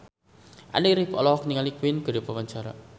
Andy rif olohok ningali Queen keur diwawancara